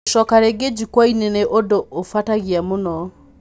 Gũcoka ringi jukuaya-inĩ nĩ ũndũ ũbũtagia mũno".